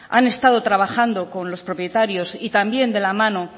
han estado trabajando con los propietarios y también de la mano